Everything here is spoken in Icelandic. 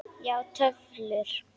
Já, töflur.